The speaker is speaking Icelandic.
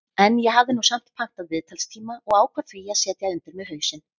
En ég hafði nú samt pantað viðtalstíma og ákvað því að setja undir mig hausinn.